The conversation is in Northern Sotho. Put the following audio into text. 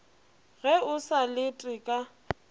ge o sa lete ka